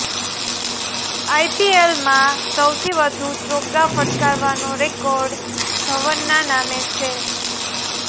આઈપીએલમાં સૌથી વધુ ચોગ્ગા ફટકારવાનો રેકોર્ડ ધવનના નામે છે